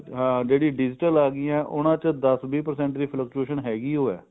ਜਿਹੜੀ digital ਆਗਿਆਂ ਉਹਨਾ ਚ ਦਸ ਵੀਹ percent ਦੀ fluctuate ਹੈਗੀ ਉ ਹੈ